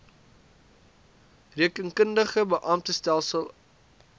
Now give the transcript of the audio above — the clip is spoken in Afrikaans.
rekeningkundige beamptestelsel aos